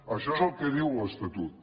això és el que diu l’estatut